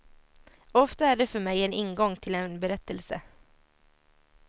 Ofta är det för mig en ingång till en berättelse.